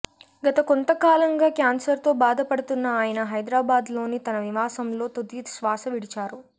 గత కొంతకాలంగా క్యాన్సర్తో బాధపడుతున్న ఆయన హైదరాబాద్లోని తన నివాసంలో తుదిశ్వాస విడిచారు